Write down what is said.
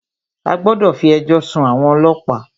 A gbọ́dọ̀ fí ẹjọ́ sún àwọn ọlọ́pàá!